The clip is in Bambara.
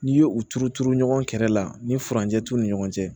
N'i ye u turu turu ɲɔgɔn kɛrɛ la ni furancɛ t'u ni ɲɔgɔn cɛ